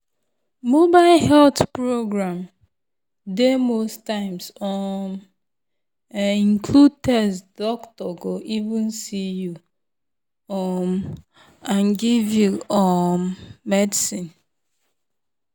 mobile health program dey most times [um][um]include test doctor go even see you um and give you um medicine.